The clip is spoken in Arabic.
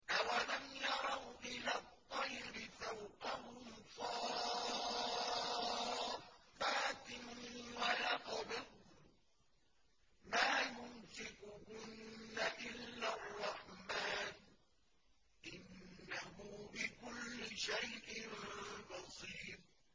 أَوَلَمْ يَرَوْا إِلَى الطَّيْرِ فَوْقَهُمْ صَافَّاتٍ وَيَقْبِضْنَ ۚ مَا يُمْسِكُهُنَّ إِلَّا الرَّحْمَٰنُ ۚ إِنَّهُ بِكُلِّ شَيْءٍ بَصِيرٌ